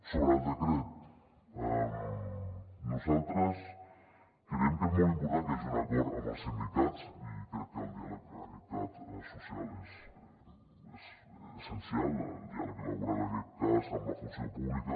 sobre el decret nosaltres creiem que és molt important que hi hagi un acord amb els sindicats i crec que el diàleg social és essencial el diàleg elaborat en aquest cas amb la funció pública